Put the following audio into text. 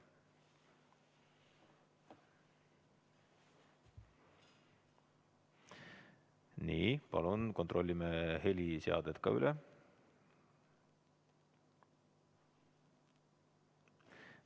Nii, palun kontrollime heliseaded ka üle.